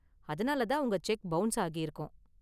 அதனால தான் உங்க செக் பவுன்ஸ் ஆகிருக்கும்.